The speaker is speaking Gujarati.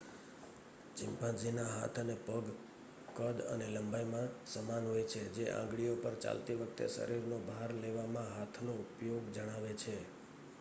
ચિમ્પાન્ઝીના હાથ અને પગ કદ અને લંબાઈમાં સમાન હોય છે જે આંગળીઓ પર ચાલતી વખતે શરીરનો ભાર લેવામાં હાથનો ઉપયોગ જણાવે છે